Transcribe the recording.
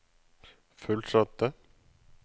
fullsatte